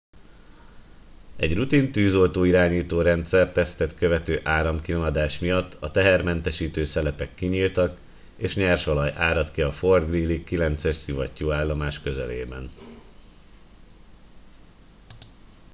egy rutin tűzoltó irányító rendszer tesztet követő áramkimaradás miatt a tehermentesítő szelepek kinyíltak és nyersolaj áradt ki a fort greely 9 es szivattyúállomás közelében